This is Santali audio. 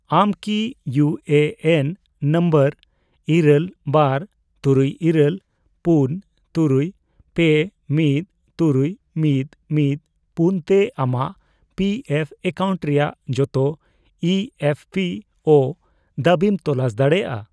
ᱟᱢ ᱠᱤ ᱤᱭᱩ ᱮᱹ ᱮᱱ ᱱᱚᱢᱵᱚᱨ ᱤᱨᱟᱹᱞ, ᱵᱟᱨ, ᱛᱩᱨᱩᱭᱹᱤᱨᱟᱹᱞ, ᱯᱩᱱ, ᱛᱩᱨᱩᱭ, ᱯᱮ, ᱢᱤᱫ, ᱛᱩᱨᱩᱭ, ᱢᱤᱫ, ᱢᱤᱫ, ᱯᱩᱱ ᱛᱮ ᱟᱢᱟᱜ ᱯᱤ ᱮᱯᱷ ᱮᱠᱟᱣᱩᱱᱴ ᱨᱮᱭᱟᱜ ᱡᱚᱛᱚ ᱤ ᱮᱯᱷ ᱯᱤ ᱳ ᱫᱟᱹᱵᱤᱢ ᱛᱚᱞᱟᱥ ᱫᱟᱲᱮᱭᱟᱜᱼᱟ ᱾